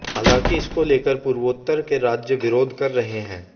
हालांकि इसको लेकर पूर्वोत्तर के राज्य विरोध कर रहे हैं